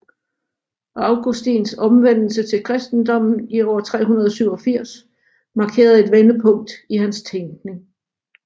Augustins omvendelse til kristendommen i år 387 markerer et vendepunkt i hans tænkning